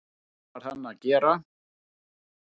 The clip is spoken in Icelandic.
Það varð hann að gera.